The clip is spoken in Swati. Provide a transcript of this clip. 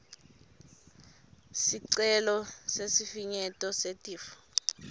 sicelo sesifinyeto setifo